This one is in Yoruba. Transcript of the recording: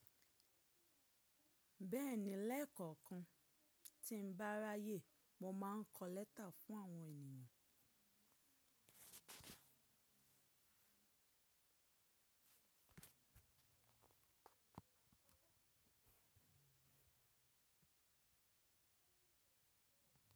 Bẹ́ẹ̀ni, lẹ́ẹ̀kọ̀kan tí ń bá ráyè, mo máa ń kọ lẹ́tà fún àwọn ènìyàn.